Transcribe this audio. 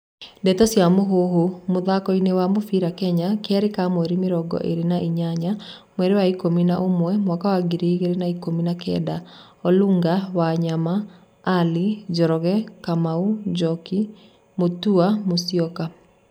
Ndeto cia Mũhuhu, mũthakoini wa mũbĩra Kenya, Kerĩ ka mweri mĩrongo ĩrĩ na inyanya, mweri wa ikũmi na ũmwe, mwaka wa ngiri igĩrĩ na ikumi na kenda:Olunga, Wanyama, Ali, Njoroge, Kamau, Njoki, Mutua, Musyoka